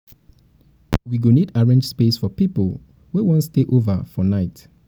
we go need arrange space for people wey wan stay over for night.